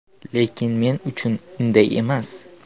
Lekin men uchun unday emas.